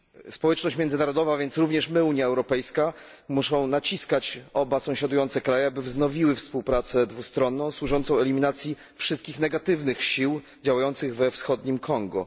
Społeczność międzynarodowa, więc również my, Unia Europejska, musi naciskać oba sąsiadujące kraje, aby wznowiły współpracę dwustronną służącą eliminacji wszystkich negatywnych sił działających we wschodnim Kongo.